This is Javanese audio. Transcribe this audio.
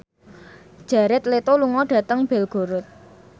Jared Leto lunga dhateng Belgorod